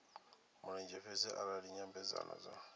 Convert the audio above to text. mulenzhe fhedzi arali nyambedzano dzo